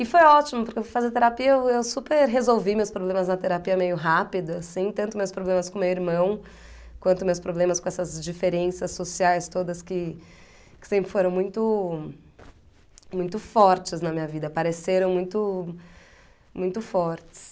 E foi ótimo, porque eu fui fazer terapia, eu eu super resolvi meus problemas na terapia meio rápido, assim, tanto meus problemas com meu irmão, quanto meus problemas com essas diferenças sociais todas que que sempre foram muito... muito fortes na minha vida, apareceram muito... muito fortes.